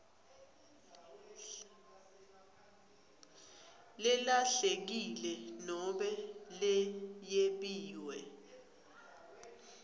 lelahlekile nobe leyebiwe